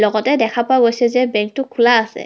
লগতে দেখা পোৱা গৈছে যে বেংক টো খোলা আছে.